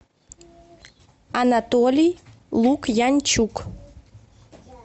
анатолий лукьянчук